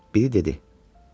Biri dedi: